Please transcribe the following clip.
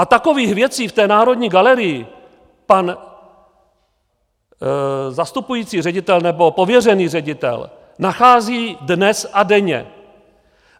A takových věcí v té Národní galerii pan zastupující ředitel, nebo pověřený ředitel, nachází dnes a denně.